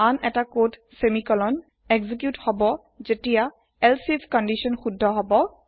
আন এটা কোডৰ তুকুৰা সেমিকোলন এক্সিকিওত হব জেতিয়া এলচিফ কণ্ডিশ্যন শুদ্ধ হব